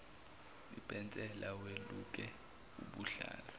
ipensela weluke ubuhlalu